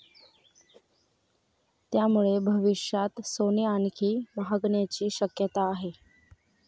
त्यामुळे भविष्यात सोने आणखी महागण्याची शक्यता आहे.